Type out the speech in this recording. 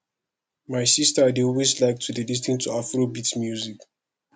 my sister dey always like to lis ten to afrobeat music